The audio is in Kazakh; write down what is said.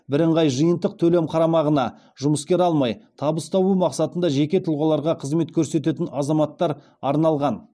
бірыңғай жиынтық төлем қарамағына жұмыскер алмай табыс табу мақсатында жеке тұлғаларға қызмет көрсететін азаматтар арналған